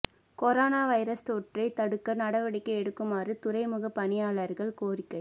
corona virus தொற்றைத் தடுக்க நடவடிக்கை எடுக்குமாறு துறைமுக பணியாளர்கள் கோரிக்கை